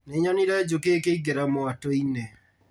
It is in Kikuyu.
Nĩnyonire njũkĩ ikĩingĩra mwatũ-inĩ